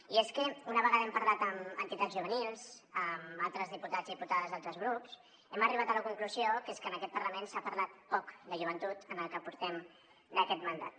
i és que una vegada hem parlat amb entitats juvenils amb altres diputats i diputades d’altres grups hem arribat a la conclusió que és que en aquest parlament s’ha parlat poc de joventut en el que portem d’aquest mandat